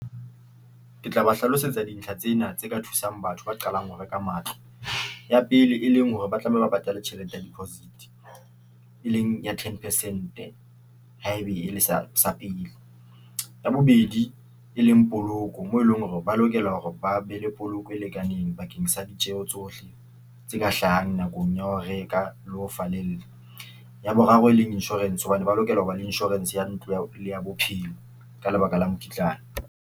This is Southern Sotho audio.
Ke tla ba hlalosetsa dintlha tsena tse ka thusang batho ba qalang ho reka matlo ya pele, e leng hore ba tlameha ba patale tjhelete ya deposit e leng ya ten percent. Ha ebe e le sa sa pele ya bobedi e leng poloko, moo e leng hore ba lokela hore ba be le poloko e lekaneng bakeng sa ditjeho tsohle tse ka hlahang nakong ya ho reka le ho falella. Ya boraro e leng insurance hobane ba lokela hoba le insurance ya ntlo ya le ya bophelo ka lebaka la mokitlane.